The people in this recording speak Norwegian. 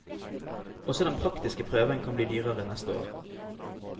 Også den praktiske prøven kan bli dyrere neste år.